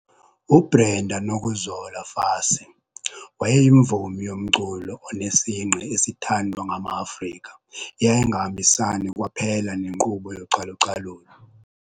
UBrenda Nokuzola Fassie wayeyimvumi yomculo onesingqi esithandwa ngamaAfrika eyayingahambisani kwaphela nenkqubo yocalu-calulo.